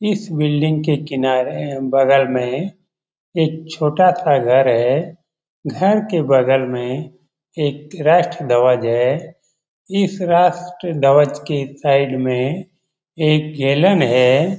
इस बिल्डिंग के किनारे बगल में एक छोटा-सा घर है घर के बगल में एक राष्ट्र ध्वज है इस राष्ट्र के धव्ज के साइड में एक गैलन है।